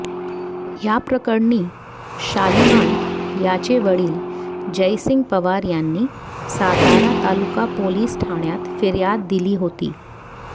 याप्रकरणी शालिवान याचे वडील जयसिंग पवार यांनी सातारा तालुका पोलिस ठाण्यात फिर्याद दिली होती